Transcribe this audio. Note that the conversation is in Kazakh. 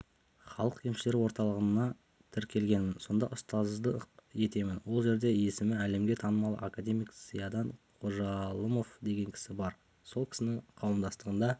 халық емшілері орталығына тіркелгенмін сонда ұстаздық етемін ол жерде есімі әлемге танымал академик зиядан қожалымов деген кісі бар сол кісінің қауымдастығында